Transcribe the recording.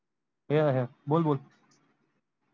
बोल बोल